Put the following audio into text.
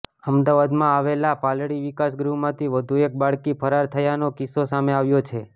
અમદાવાદમાં આવેલા પાલડી વિકાસગૃહમાંથી વધુ એક બાળકી ફરાર થયાનો કિસ્સો સામે આવ્યો છે